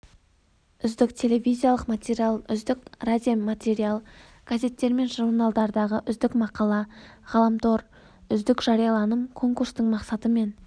үздік телевизиялық материал үздік радиоматериал газеттер мен журналдардағы үздік мақала ғаламтор үздік жарияланым конкурстың мақсаты мен